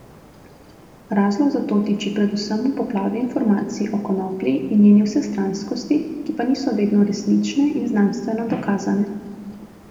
Razlog za to tiči predvsem v poplavi informacij o konoplji in njeni vsestranskosti, ki pa niso vedno resnične in znanstveno dokazane.